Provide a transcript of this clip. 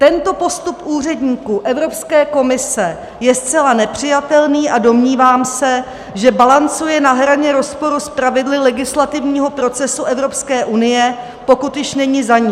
Tento postup úředníků Evropské komise je zcela nepřijatelný a domnívám se, že balancuje na hraně rozporu s pravidly legislativního procesu Evropské unie, pokud již není za ní.